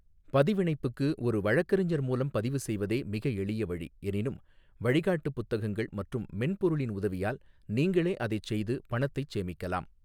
பதிவிணைப்புக்கு ஒரு வழக்கறிஞர் மூலம் பதிவுசெய்வதே மிக எளிய வழி, எனினும் வழிகாட்டு புத்தகங்கள் மற்றும் மென்பொருளின் உதவியால் நீங்களே அதைச் செய்து பணத்தைச் சேமிக்கலாம்.